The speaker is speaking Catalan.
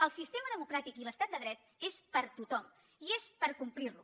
el sistema democràtic i l’estat de dret són per a tothom i són per complir los